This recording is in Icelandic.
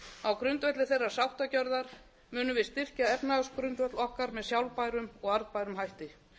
á grundvelli þeirrar sáttargjörðar munum við styrkja efnahagsgrundvöll okkar með sjálfbærum og arðbærum hætti